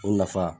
O nafa